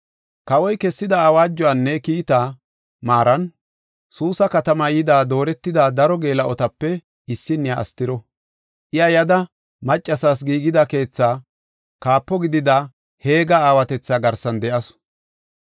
Kawoy kessida awaajuwanne kiitaa maaran, Suusa katama yida dooretida daro geela7otape issinniya Astiro. Iya yada, maccasas giigida keetha kaapo gidida Heega aawatetha garsan de7asu.